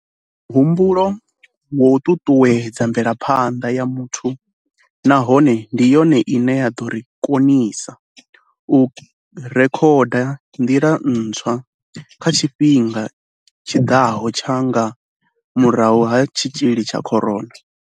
Mihumbulo yo ṱuṱuwedza mvelaphanḓa ya muthu nahone ndi yone ine ya ḓo ri konisa u rekhoda nḓila ntswa kha tshifhinga tshi ḓaho tsha nga murahu ha tshitzhili tsha corona.